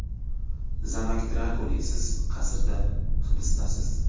Zamok Drakuli Siz qasrda hibisdasiz.